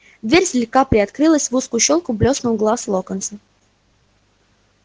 дверь слегка приоткрылась в узкую щёлку блеснул глаз локонса